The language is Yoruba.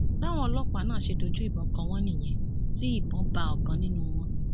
báwọn ọlọpàá náà ṣe dojú ìbọn kọ wọn nìyẹn tí ìbọn bá ọkan nínú wọn